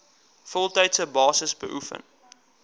voltydse basis beoefen